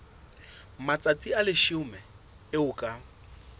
matsatsi a leshome eo ka